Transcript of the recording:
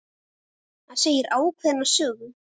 Það segir ákveðna sögu.